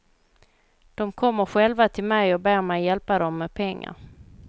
De kommer själva till mig och ber mig hjälpa dem med pengar.